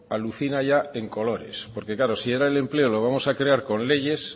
alucina ya en colores porque si ahora el empleo lo vamos a crear con leyes